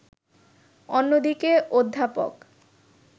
অন্যদিকে অধ্যাপক